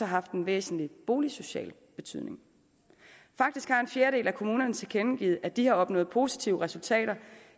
haft en væsentlig boligsocial betydning faktisk har en fjerdedel af kommunerne tilkendegivet at de har opnået positive resultater